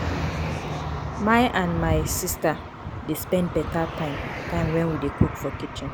my and my sista dey spend beta time time wen we dey cook for kitchen.